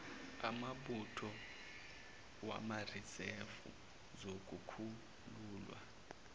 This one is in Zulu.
awombutho wamarizevu zokukhululwa